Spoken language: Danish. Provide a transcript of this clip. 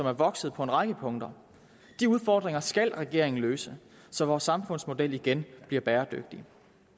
er vokset på en række punkter de udfordringer skal regeringen løse så vores samfundsmodel igen bliver bæredygtig